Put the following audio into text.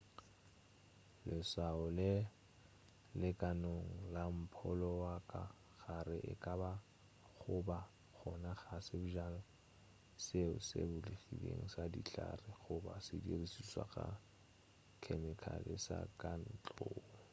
leswao le le kanone la mpholo wa ka gare e ka ba go ba gona ga sebjana seo se bulegilego sa dihlare goba sedirišwa sa khemikhale sa ka ntlong